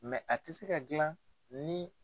a tɛ se ka dilan ni.